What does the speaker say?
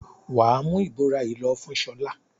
Wà á mú ìbora yìí lọ fún Ṣọlá!